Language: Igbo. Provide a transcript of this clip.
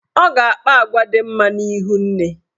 Ọ ga-akpa agwa dị mma n'ihu nne.